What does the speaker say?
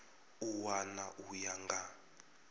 a wana u ya nga